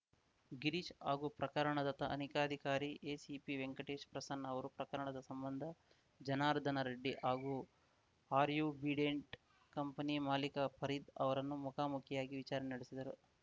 ಗಿರೀಶ್‌ ಹಾಗೂ ಪ್ರಕರಣದ ತನಿಖಾಧಿಕಾರಿ ಎಸಿಪಿ ವೆಂಕಟೇಶ್‌ ಪ್ರಸನ್ನ ಅವರು ಪ್ರಕರಣದ ಸಂಬಂಧ ಜರ್ನಾದನ ರೆಡ್ಡಿ ಹಾಗೂ ಆರ್ಯುಬಿಡೆಂಟ್‌ ಕಂಪನಿ ಮಾಲೀಕ ಫರೀದ್‌ ಅವರನ್ನು ಮುಖಾಮುಖಿಯಾಗಿ ವಿಚಾರಣೆ ನಡೆಸಿದರು